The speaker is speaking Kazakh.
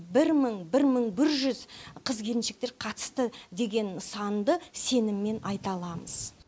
бір мың бір мың бір жүз қыз келіншектер қатысты деген санды сеніммен айта аламыз